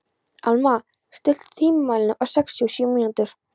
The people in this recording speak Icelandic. Alma, stilltu tímamælinn á sextíu og sjö mínútur.